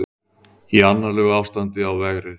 Í annarlegu ástandi á vegrið